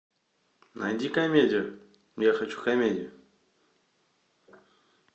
найди комедию я хочу комедию